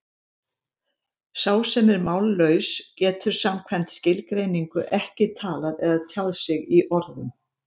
Sá sem er mállaus getur samkvæmt skilgreiningu ekki talað eða tjáð sig í orðum.